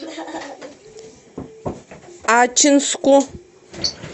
ачинску